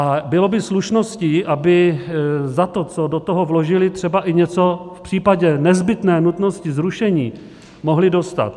A bylo by slušností, aby za to, co do toho vložili, třeba i něco v případě nezbytné nutnosti zrušení mohli dostat.